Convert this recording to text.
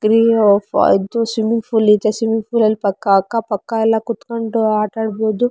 ಗ್ರೇಯೋ ಅದು swimming pool ಇದೆ swimming pool ಅಲ್ಲಿ ಅಕ್ಕ ಪಕ್ಕ ಎಲ್ಲ ಕುತ್ಕೊಂಡು ಆಟ ಆಡ್ಬಹುದು.